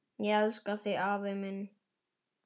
Ég elska þig afi minn.